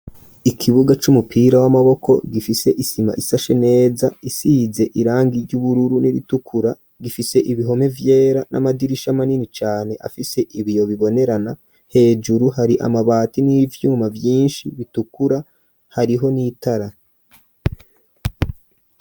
Ikibuga c'umupira w'amaboko gifise isima isashe neza isize irangi ry'ubururu n'ibitukura gifise ibihome vyera n'amadirisha manini cane afise ibiyo bibonerana hejuru hari amabati n'ivyuma byinshi bitukura hariho n'itara.